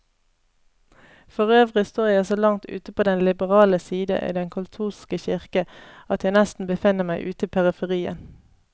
Forøvrig står jeg så langt ute på den liberale side i den katolske kirke, at jeg nesten befinner meg ute i periferien.